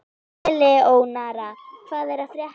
Eleonora, hvað er að frétta?